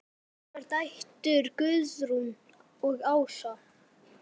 Þínar dætur, Guðrún og Ása.